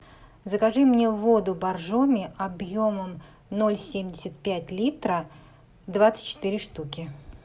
закажи мне воду боржоми объемом ноль семьдесят пять литра двадцать четыре штуки